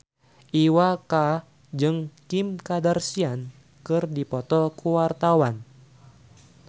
Iwa K jeung Kim Kardashian keur dipoto ku wartawan